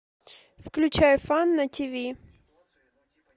включай фан на тв